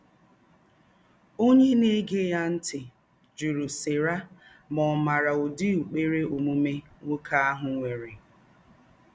Ònyé na-égé yà ntị̀ jùrù Sera ma ọ̀ màrà ūdí ụ́kpèrè ōmùmè nwókè áhụ̀ nwèrè